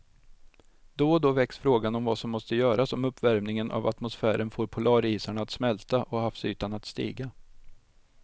Då och då väcks frågan om vad som måste göras om uppvärmingen av atmosfären får polarisarna att smälta och havsytan att stiga.